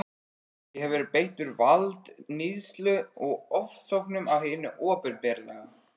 Ég hef verið beittur valdníðslu og ofsóknum af hinu opinbera.